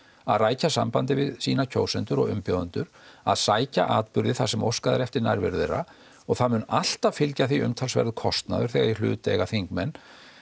að rækja sambandið við sína kjósendur og umbjóðendur að sækja atburði þar sem óskað er eftir nærveru þeirra og það mun alltaf fylgja því umtalsverður kostnaður þegar í hlut eiga þingmenn